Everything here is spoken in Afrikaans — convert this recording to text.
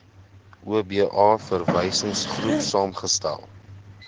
oba verwysingsgroep saamgestel